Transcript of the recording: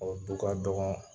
O du ka dɔgɔ